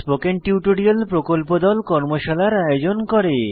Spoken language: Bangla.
স্পোকেন টিউটোরিয়াল প্রকল্প দল কর্মশালার আয়োজন করে